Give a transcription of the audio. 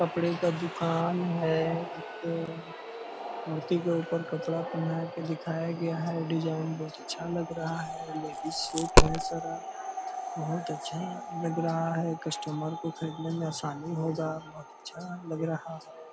कपड़े का दुकान है इधर मूर्ति के ऊपर कपड़ा पेहनाया के दिखाया गया है डिज़ाइन बहुत अच्छा लग रहा है लेकिन सूट है सारा बहुत अच्छा लग रहा है कस्टमर को खरीदने में आसानी होगा और बहुत अच्छा लग रहा है।